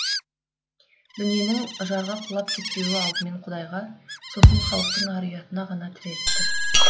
дүниенің жарға құлап кетпеуі алдымен құдайға сосын халықтың ар ұятына ғана тіреліп тұр